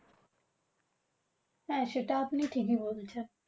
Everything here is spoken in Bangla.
হ্যাঁ, সেটা আপনি ঠিকই বলেছেন।